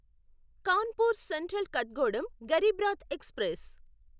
Kanpur central Kathgodam Garib Rath express